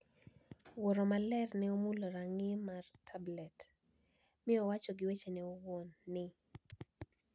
Wuoro Maler ne omulo rang`i mar Tablet, mi owacho gi wechene owuon ni,